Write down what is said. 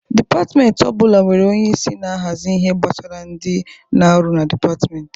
Dïpatmenti ọ bụla nwere onyeisi na-ahazi ihe gbasara ndị, na ọrụ dịpatmenti.